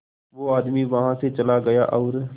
वो आदमी वहां से चला गया और